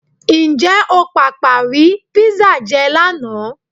Ǹjẹ́ o pàpà rí písà jẹ lánàá?